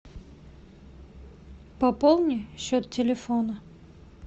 пополни счет телефона